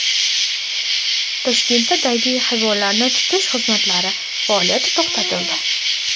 Toshkentda daydi hayvonlarni tutish xizmatlari faoliyati to‘xtatildi.